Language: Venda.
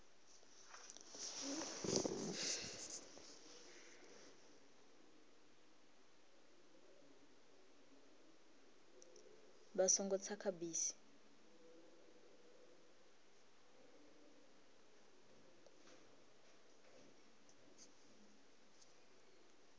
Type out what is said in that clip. vha songo tsa kha bisi